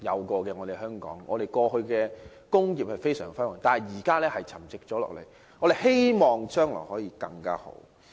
過去香港的工業發展非常輝煌，但現在卻沉寂下來，希望將來可發展得更好。